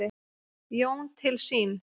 Jón til sín.